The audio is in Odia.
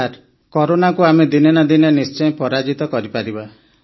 ସାର୍ କରୋନାକୁ ଆମେ ଦିନେ ନା ଦିନେ ନିଶ୍ଚୟ ପରାଜିତ କରିପାରିବା